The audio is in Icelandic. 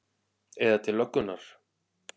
Eða til löggunnar?